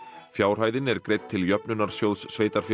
fjárhæðin er greidd til Jöfnunarsjóðs sveitarfélaga